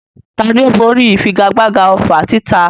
Tani ó borí ìfigagbága ọfà títa?